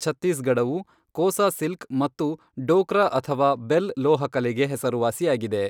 ಛತ್ತೀಸ್ಗಢವು "Kosa silk" ಮತ್ತು "ಡೋಕ್ರಾ ಅಥವಾ bell ಲೋಹ ಕಲೆ" ಗೆ ಹೆಸರುವಾಸಿಯಾಗಿದೆ.